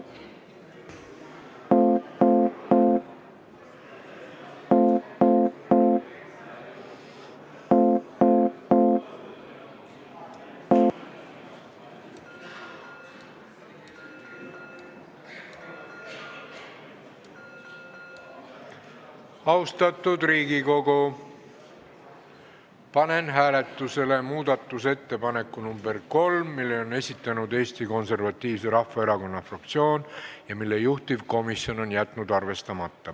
Austatud Riigikogu, panen hääletusele muudatusettepaneku nr 3, mille on esitanud Eesti Konservatiivse Rahvaerakonna fraktsioon ja mille juhtivkomisjon on jätnud arvestamata.